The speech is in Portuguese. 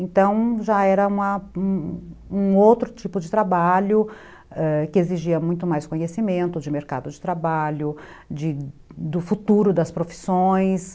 Então, já era um outro tipo de trabalho que exigia muito mais conhecimento de de mercado de trabalho, do futuro das profissões.